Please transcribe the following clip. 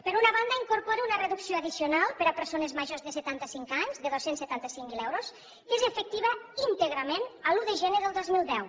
per una banda incorpora una reducció addicional per a persones majors de setantacinc anys de dos cents i setanta cinc mil euros que és efectiva íntegrament l’un de gener del dos mil deu